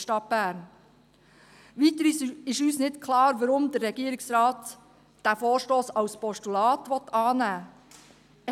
Weiter ist uns nicht klar, weshalb der Regierungsrat diesen Vorstoss als Postulat annehmen will.